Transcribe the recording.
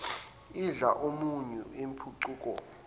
idla umunyu impucuko